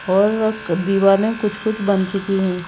और दीवालें कुछ-कुछ बन चुकी हैं।